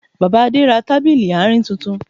Bàbá Adé ra tábìlì àárín tuntun